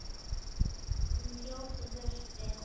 Hún hljóp í burtu.